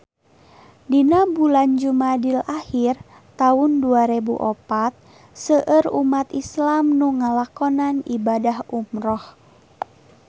Dina bulan Jumadil ahir taun dua rebu opat seueur umat islam nu ngalakonan ibadah umrah